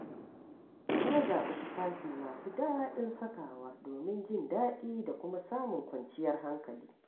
Na zaɓi tufafi masu daɗin sakawa domin jin daɗi da kuma samun kwanciyar hankali.